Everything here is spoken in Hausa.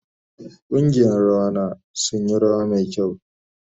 Kungiyan rawa na sun yi rawa mai kyau.